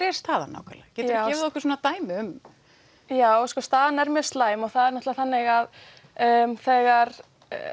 er staðan nákvæmlega getur þú gefið okkur dæmi já sko staðan er mjög slæm og það er náttúrlega þannig að þegar